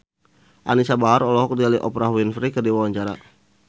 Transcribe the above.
Anisa Bahar olohok ningali Oprah Winfrey keur diwawancara